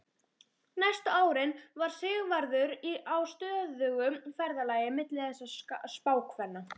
Næstu árin var Sigvarður á stöðugu ferðalagi milli þessara spákvenna.